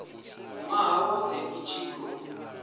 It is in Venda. nwaha wothe i tshi khou